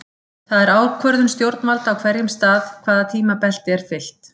Það er ákvörðun stjórnvalda á hverjum stað hvaða tímabelti er fylgt.